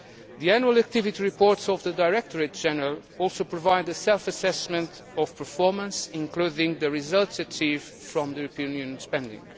The annual activity reports of the Directorates General also provide a self assessment of performance, including the results achieved from European Union spending.